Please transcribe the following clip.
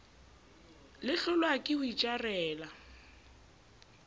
le hlolwa ke ho itjarela